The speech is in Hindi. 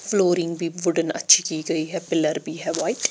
फ्लोरींग भी वुडन अच्छी की गई है पिलर भी है व्हाइट ।